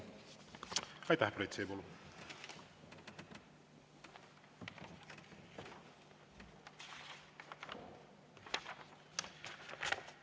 Aitäh, Priit Sibul!